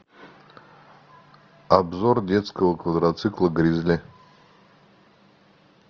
обзор детского квадроцикла гризли